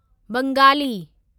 Bengali